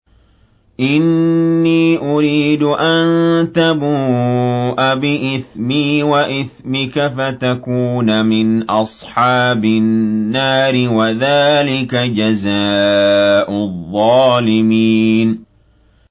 إِنِّي أُرِيدُ أَن تَبُوءَ بِإِثْمِي وَإِثْمِكَ فَتَكُونَ مِنْ أَصْحَابِ النَّارِ ۚ وَذَٰلِكَ جَزَاءُ الظَّالِمِينَ